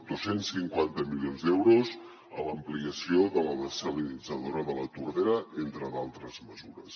dos cents i cinquanta milions d’euros a l’ampliació de la dessalinitzadora de la tordera entre d’altres mesures